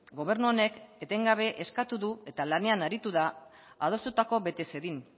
gobernu honek etengabe eskatu du eta lanean aritu da adostutako bete zedin